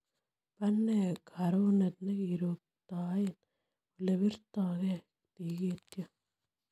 Po nee karoneet nekirootktoen olebiirta g'ee tikiityoo